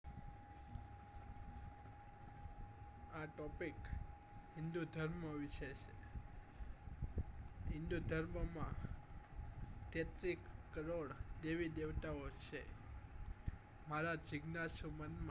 આ topic હિન્દુધર્મ વિષે છે હિન્દુધર્મ માં તેત્રીસ કરોડ દેવી દેવતાઓ છે મારા જીજ્ઞાસા મન માં